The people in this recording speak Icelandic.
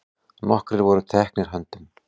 Nokkrir voru teknir höndum.